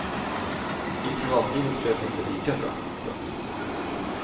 I privatlivet flöt det inte lika bra. punkt